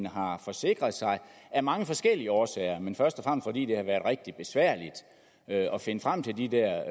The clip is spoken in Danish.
har forsikret sig af mange forskellige årsager men først og fordi det har været rigtig besværligt at finde frem til de der